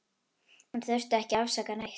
Hún þurfti ekki að afsaka neitt.